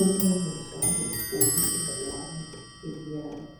omunye njalo ugqoke ingwane emnyama.